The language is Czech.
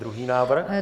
Druhý návrh?